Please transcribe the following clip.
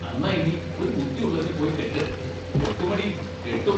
അന്നാ ഇഞ്ഞി ഒരു ബുദ്ദിയൊള്ളതിനെ പോയി കെട്ട് കെട്ടുമെടീ, കെട്ടും.